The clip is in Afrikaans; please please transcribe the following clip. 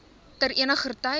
ter eniger tyd